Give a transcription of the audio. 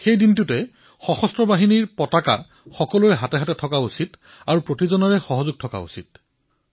সকলোৰে ওচৰত সেই দিনা সশস্ত্ৰ বাহিনীৰ পতাকা থাকিব লাগে আৰু সকলোৱে যোগদানো কৰিব লাগে